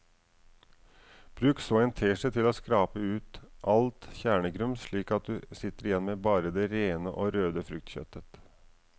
Bruk så en teskje til å skrape ut alt kjernegrums slik at du sitter igjen med bare det rene og røde fruktkjøttet.